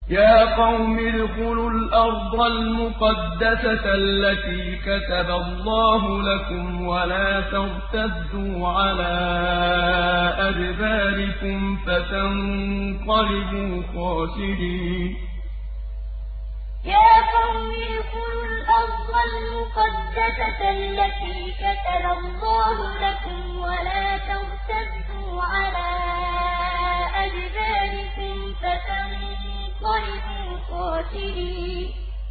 يَا قَوْمِ ادْخُلُوا الْأَرْضَ الْمُقَدَّسَةَ الَّتِي كَتَبَ اللَّهُ لَكُمْ وَلَا تَرْتَدُّوا عَلَىٰ أَدْبَارِكُمْ فَتَنقَلِبُوا خَاسِرِينَ يَا قَوْمِ ادْخُلُوا الْأَرْضَ الْمُقَدَّسَةَ الَّتِي كَتَبَ اللَّهُ لَكُمْ وَلَا تَرْتَدُّوا عَلَىٰ أَدْبَارِكُمْ فَتَنقَلِبُوا خَاسِرِينَ